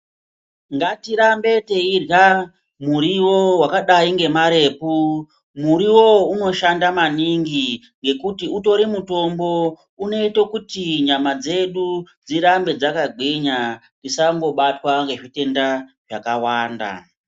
Ngatirambe teirwa muriwo wakadai ngemarepu. Muriwowo unoshanda maningi ngekuti utori mutombo ngekuti unoita kuti nyama dzedu dzirambe dzakagwinya tisangobatwa ngezvitenda zvakawanda.